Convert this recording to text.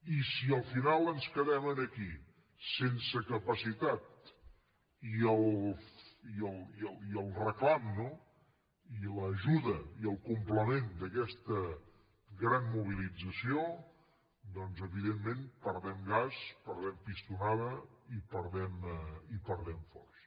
i si al final ens quedem aquí sense capacitat i el reclam i l’ajuda i el complement d’aquesta gran mobilització doncs evidentment perdem gas perdem pistonada i perdem força